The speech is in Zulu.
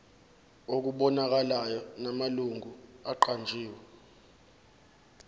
okubonakalayo namalungu aqanjiwe